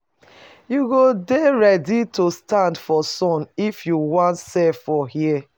You go dey ready to stand for sun if you wan sell for here.